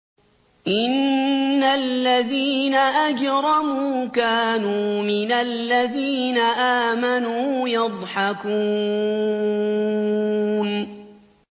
إِنَّ الَّذِينَ أَجْرَمُوا كَانُوا مِنَ الَّذِينَ آمَنُوا يَضْحَكُونَ